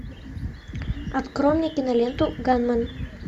открой мне киноленту ганмен